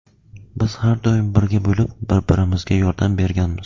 Biz har doim birga bo‘lib, bir-birimizga yordam berganmiz.